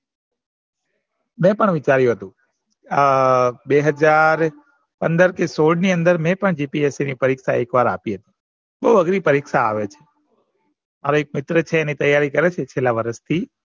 મેં પણ વિચાર્યું હતું અ બે હાજર પંદર થી સોળ મ મેં પણ g. p. s. c ની પરીક્ષા આપી હતી બૌ અગરી પરીક્ષા આવે મારો એક મિત્ર છે એ તૈયારી કરે છેલ્લા વરસ થી